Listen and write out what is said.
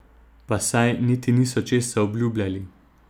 Pa saj niti niso česa obljubljali.